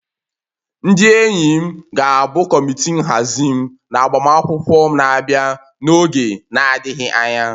Ndị enyi m ga-abụ kọmitii nhazi m na agbamakwụkwọ m na-abịa n'oge na-adịghị anya